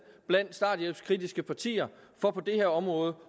blandt starthjælpskritiske partier for på det her område